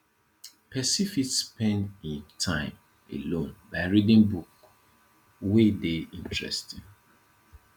person fit spend im time alone by reading book wey dey interesting